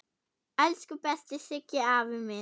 Elsku besti Siggi afi minn.